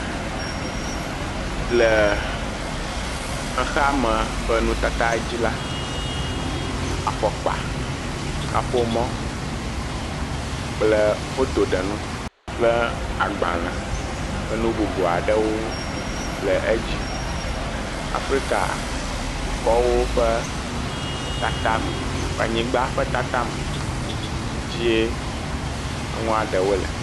Le xexeame ƒe nutata dzi la, afɔkpa, kaƒomɔ kple fotoɖenu kple agbale kple nu bubu aɖewo le edzi. Afrika dukɔwo ƒe tatame ƒe anyigba ƒe tatame dzie aŋua ɖewo le.